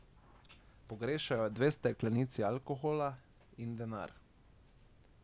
Pogrešajo dve steklenici alkohola in denar.